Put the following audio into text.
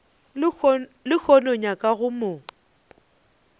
lehono o nyaka go mo